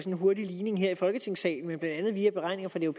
en hurtig ligning her i folketingssalen men blandt andet via beregninger fra den